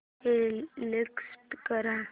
exit कर